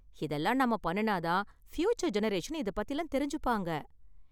இதெல்லாம் நாம பண்ணுனா தான ஃப்யூச்சர் ஜெனரேஷன் இதைப் பத்திலாம் தெரிஞ்சுப்பாங்க